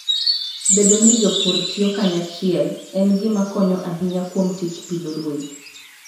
Bedo ni jopur tiyo kanyachiel, en gima konyo ahinya kuom tij pidho ruedhi.